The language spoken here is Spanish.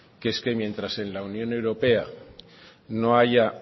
que es que mientras en la unión europea no haya